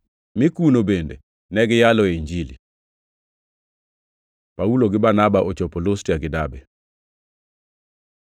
mi kuno bende ne giyaloe Injili. Paulo gi Barnaba ochopo Lustra gi Derbe